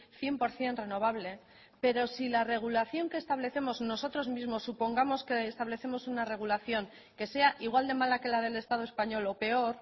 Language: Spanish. cien por ciento renovable pero si la regulación que establecemos nosotros mismos supongamos que establecemos una regulación que sea igual de mala que la del estado español o peor